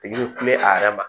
Tigi bɛ kule a yɛrɛ ma